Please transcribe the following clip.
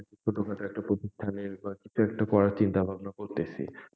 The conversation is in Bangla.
ছোটখাটো একটা প্রতিষ্ঠানের বা কিছু একটা করার চিন্তা ভাবনা করতেসি,